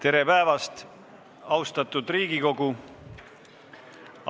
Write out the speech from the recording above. Tere päevast, austatud Riigikogu!